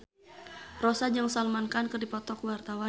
Rossa jeung Salman Khan keur dipoto ku wartawan